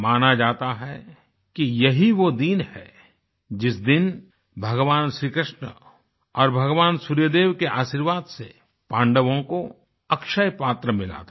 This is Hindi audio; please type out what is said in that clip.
माना जाता है कि यही वो दिन है जिस दिन भगवान श्रीकृष्ण और भगवान सूर्यदेव के आशीर्वाद से पांडवों को अक्षयपात्र मिला था